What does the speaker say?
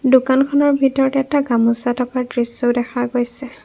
দোকানখনৰ ভিতৰত এটা গামোচা থকা দৃশ্যও দেখা গৈছে।